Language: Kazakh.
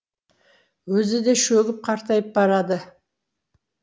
өзі де шөгіп қартайып барады